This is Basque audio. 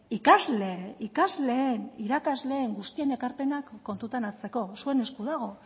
ikasle ikasleen irakasleen guztien ekarpenak kontutan hartzeko zuen esku dago